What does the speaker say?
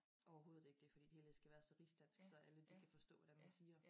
Overhovedet ikke det fordi det hele skal være så rigsdansk så alle de kan forstå hvad det er man siger